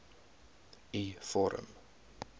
u vorm